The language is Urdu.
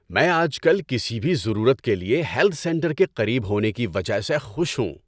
میں آج کل کسی بھی ضرورت کے لیے ہیلتھ سینٹر کے قریب ہونے کی وجہ سے خوش ہوں۔